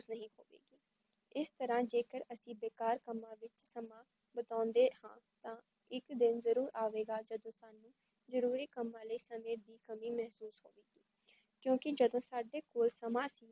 ਇਸ ਤਰਹ ਜੇ ਕਰ ਅਸੀ ਬੇਕਾਰ ਕੱਮਾ ਚ ਸਮਾਂ ਬਿਤਾਉਂਦੇ ਹਾਂ ਤਾਂ ਇੱਕ ਦਿਨ ਜਰੂਰ ਆਵੇਗਾ ਜਦੋਂ ਤੁਹਾਨੂ ਜਰੂਰੀ ਕੱਮਾ ਲਈ ਸਮੇ ਦੀ ਕਮੀ ਮਹੱਸੂਸ ਹੋਵੇਗੀ, ਕਿਉਂਕੀ ਜਦੋਂ ਸਾਡੇ ਕੋਲ ਸਮਾਂ ਸੀ